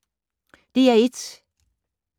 DR1